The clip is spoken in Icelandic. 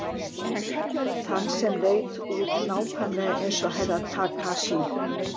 Þann sem leit út nákvæmlega eins og Herra Takashi.